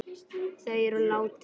Þau eru látin.